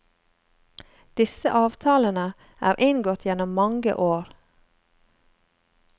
Disse avtalene er inngått gjennom mange år.